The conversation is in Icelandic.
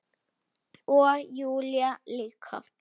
Og Júlía líka.